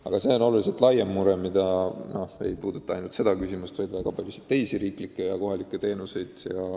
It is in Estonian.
Aga see on märksa ulatuslikum probleem, mis ei puuduta ainult seda küsimust, vaid ka väga paljusid teisi riiklikke ja kohalikke teenuseid.